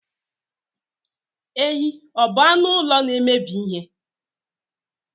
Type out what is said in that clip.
Ehi ọ bụ anụ ụlọ na-emebi ihe?